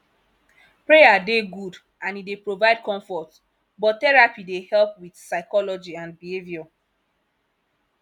prayer dey good and e dey provide comfort but therapy dey help with psychology and behaviour